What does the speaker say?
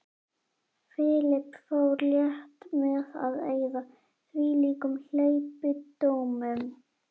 Philip fór létt með að eyða þvílíkum hleypidómum.